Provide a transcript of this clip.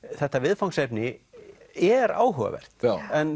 þetta viðfangsefni er áhugavert en